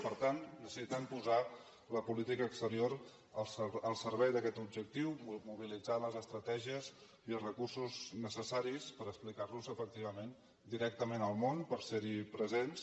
per tant necessitem posar la política exterior al servei d’aquest objectiu mobilitzant les estratègies i recursos necessaris per explicar los efectivament directament al món per ser hi presents